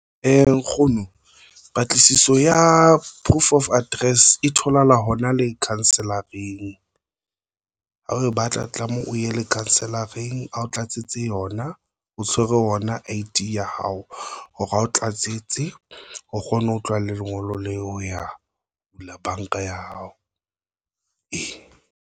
Nkgono patlisiso ya proof of address e tholahala hona le kansellering. Ha re batla tlameha o ye lekhanselareng ao tlatse tse yona. O tshwere yona I_D ya hao hore ha o tlatsitse o kgone ho tloha le lengolo leo ho ya bula banka ya hao.